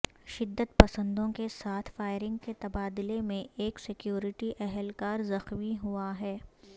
شدت پسندوں کے ساتھ فائرنگ کے تبادلے میں ایک سکیورٹی اہلکار زخمی ہوا ہے